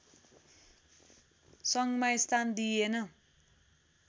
सङ्घमा स्थान दिइएन